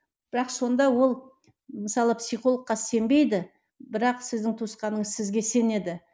бірақ сонда ол мысалы психологқа сенбейді бірақ сіздің туысқаныңыз сізге сенеді